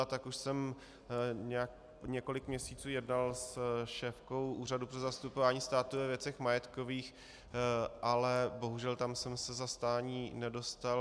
A tak už jsem několik měsíců jednal se šéfkou Úřadu pro zastupování státu ve věcech majetkových, ale bohužel tam jsem se zastání nedočkal.